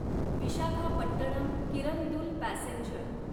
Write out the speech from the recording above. Visakhapatnam Kirandul passenger